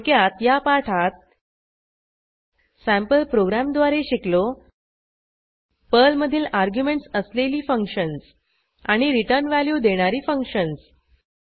थोडक्यात या पाठात सँपल प्रोग्रॅमद्वारे शिकलो पर्ल मधील अर्ग्युमेंटस असलेली फंक्शन्स आणि रिटर्न व्हॅल्यू देणारी फंक्शन्स